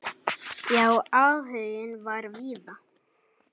Já, áhuginn var víða.